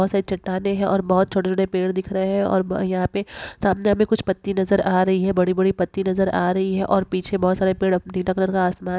बहुत सारे चट्टाने है और बहुत छोटे-छोटे पेड़ दिख रहे है और यहाँ पे सामने हमे कुछ पत्ती नजर आ रही है बड़ी-बड़ी पत्ती नजर आ रही है और पीछे बहुत सारे पेड़ नीला कलर का आसमान--